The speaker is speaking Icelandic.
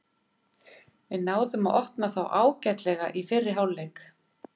Við náðum að opna þá ágætlega í fyrri hálfleik.